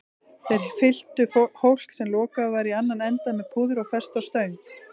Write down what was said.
Þeir fylltu hólk, sem lokaður var í annan endann, með púðri og festu á stöng.